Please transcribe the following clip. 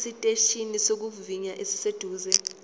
esiteshini sokuvivinya esiseduze